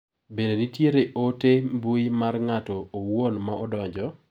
Bende nitiere ote mbui mar ng'ato owuon ma odonjo?